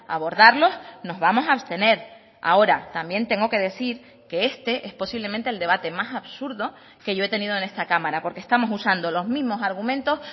abordarlos nos vamos a abstener ahora también tengo que decir que este es posiblemente el debate más absurdo que yo he tenido en esta cámara porque estamos usando los mismos argumentos